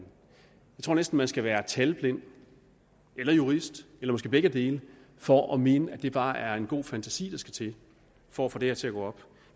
tror næsten man skal være talblind eller jurist eller måske begge dele for at mene at det bare er en god fantasi der skal til for at få det her til at gå op